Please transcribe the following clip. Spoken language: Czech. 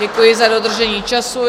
Děkuji za dodržení času.